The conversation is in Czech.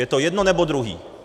Je to jedno, nebo druhý.